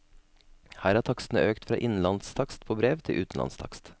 Her er takstene økt fra innenlandstakst på brev til utenlandstakst.